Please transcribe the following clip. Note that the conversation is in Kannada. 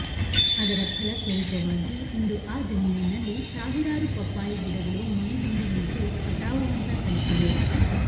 ಅದರ ಫಲಸ್ವರೂಪವಾಗಿ ಇಂದು ಆ ಜಮೀನಿನಲ್ಲಿ ಸಾವಿರಾರು ಪಪ್ಪಾಯಿ ಗಿಡಗಳು ಮೈ ದುಂಬಿ ನಿಂತು ಕಟಾವು ಹಂತ ತಲುಪಿವೆ